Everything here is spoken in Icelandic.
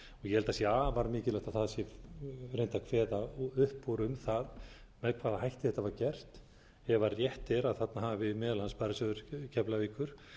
ég eld að sé afar mikilvægt að það sé reynt að kveða upp úr um það með hvaða hætti þetta var gert ef rétt er að þarna hafi meðal annars sparisjóður keflavíkur